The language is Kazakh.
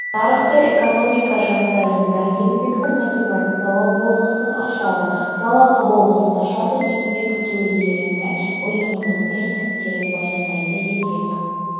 нарықты экономика жағдайында еңбекті мотивациялау болмысын ашады жалақы болмысын ашады еңбек төлемі ұйымының принциптерін баяндайды еңбек